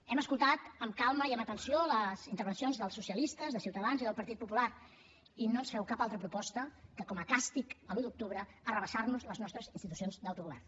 hem escoltat amb calma i amb atenció les intervencions dels socialistes de ciutadans i del partit popular i no ens feu cap altra proposta que com a càstig a l’un d’octubre arrabassar nos les nostres institucions d’autogovern